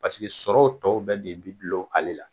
Paseke sɔrɔw tɔw bɛ de bi dulon ale la.